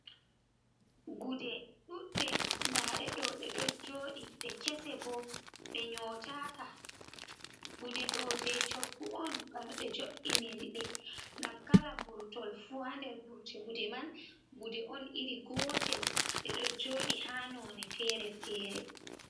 Gude ɗuɗɗe ndaɗe ɗo, ɗe ɗo jooɗii ɗe kese ɓo ɗe nyotaka, gude ɗo je shoggu on, bana ɓe joiniri ɗe ngam kala burtol fuu ha nder burti gude man gude on iri gotel ɗe ɗo jooɗii ha none fere-fere.